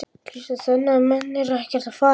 Kristján: Þannig að menn eru ekkert að fara?